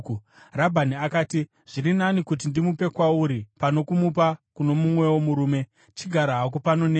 Rabhani akati, “Zviri nani kuti ndimupe kwauri pano kumupa kuno mumwewo murume. Chigara hako pano neni.”